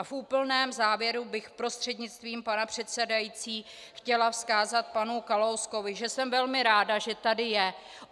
A v úplném závěru bych prostřednictvím pana předsedajícího chtěla vzkázat panu Kalouskovi, že jsem velmi ráda, že tady je.